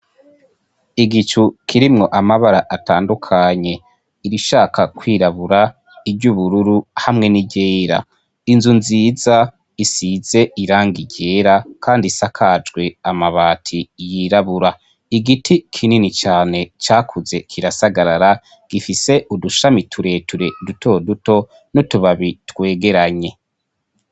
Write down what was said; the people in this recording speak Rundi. Igicu kirimwo amabara atandukanye irishaka kwirabura iryo ubururu hamwe n'iryera inzu nziza isize iranga iryera, kandi isakajwe amabati yirabura igiti kinini cane cakuze kirasagarara gifise udushamitu reture duto duto no tubabi twegeranye.